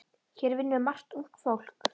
Hér vinnur margt ungt fólk.